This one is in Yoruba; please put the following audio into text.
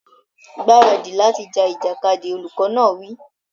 Gbáradì láti ja ìjàkadì! Olùkọ́ náà wí.